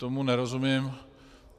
Tomu nerozumím.